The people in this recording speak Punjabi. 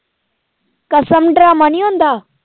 ਕਸਮ ਡਰਾਮਾ ਨੀ ਆਉਂਦਾ